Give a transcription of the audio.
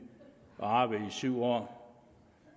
at arbejde i syv år